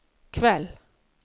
kveld